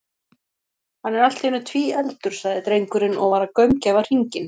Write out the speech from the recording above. Hann er allt í einu tvíefldur, sagði drengurinn og var að gaumgæfa hringinn.